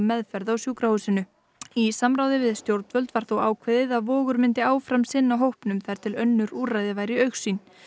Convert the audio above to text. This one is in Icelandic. meðferð á sjúkrahúsinu í samráði við stjórnvöld var þó ákveðið að Vogur myndi áfram sinna hópnum þar til önnur úrræði væru í augsýn